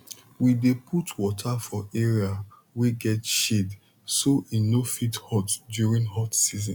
we dey put water for area wey get shade so e no fit hot during hot season